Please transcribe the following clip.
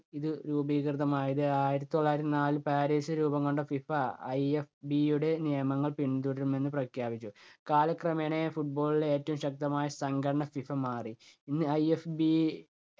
ഇത് രൂപീകൃതമായത് ആയിരത്തി തൊള്ളായിരത്തി നാലിൽ പാരീസിൽ രൂപം കൊണ്ട ഫിഫ IFB യുടെ നിയമങ്ങൾ പിന്തുടരുമെന്ന് പ്രഖ്യാപിച്ചു. കാലക്രമേണ football ലെ ഏറ്റവും ശക്തമായ സംഘടന ഫിഫ മാറി. ഇന്ന് IFB